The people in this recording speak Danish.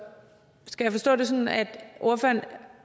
skal jeg forstå det sådan at ordføreren